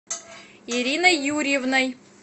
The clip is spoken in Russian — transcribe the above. ириной юрьевной